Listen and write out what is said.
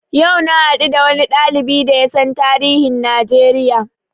Yau na haɗu da wani ɗalibi da yasan tarihin Najeriya